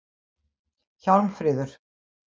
Hjálmfríður